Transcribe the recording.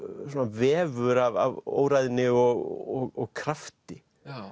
vefur af óræðni og krafti